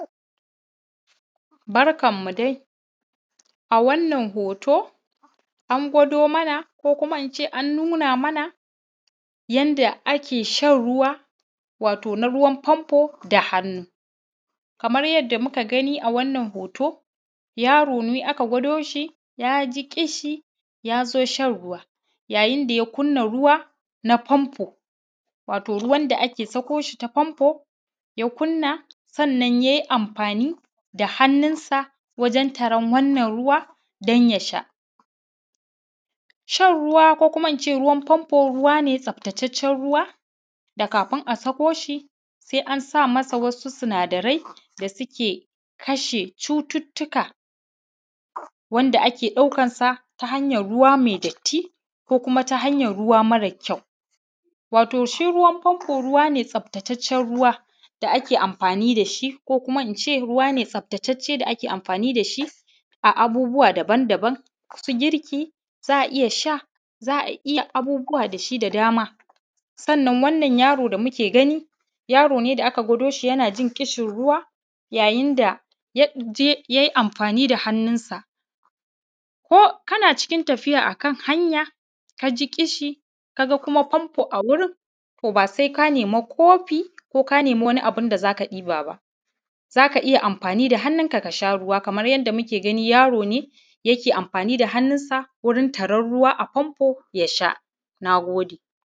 Barkanmu dai, a wannan hoto, an gwado mana ko ince an nuna mana yanda ake shan ruwa, wato na ruwan famfo da hannu. Kamar yadda muka gani a wannan hoton yaro ne aka gwado shi, yaji ƙishi yazo shan ruwa, yayin da ya kunna ruwa na famfo wato ruwan da ake sako shi ta famfo, ya kunna sannan yayi amfani da hannun sa wajen taron wannan ruwa don ya sha. Shan ruwa ko kuma ince ruwan famfo ruwa ne tsaftataccen ruwa da kafin a sako shi sai an sama masa wasu sinadarai da suke kashe cututtuka, wanda ake ɗaukan sa ta hanyar ruwa mai datti ko kuma ta hanyar ruwa mara kyau. Wato shi ruwan famfo ruwa ne tsaftataccen ruwa da ake amfani da shi ko kuma ince ruwa ne tsaftatacce da ake amfani da shi a abubuwa daban-daban, su girki, za a iya sha, za a iya abubuwa da shi da dama. Sannan wannan yaron da muke gani yaro ne da aka gwado shi yana jin ƙishin ruwa, yayin da yaje yayi amfani da hannun sa ko kana cikin tafiya akan hanya, kaji ƙishi, ka ga kuma famfo a gurin ba sai ka nema kofi ko ka nema wani abu da zaka ɗiba ba, zaka iya amfani da hannun ka ka sha ruwa kamar yadda muke gani yaro ne yake amfani da hannun sa wurin taron ruwa a famfo ya sha.